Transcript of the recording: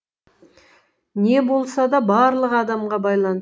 не болса да барлығы адамға байлан